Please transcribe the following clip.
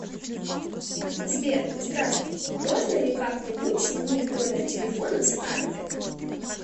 сбер здравствуйте можно ли как нибудь сменить номер телефона с карты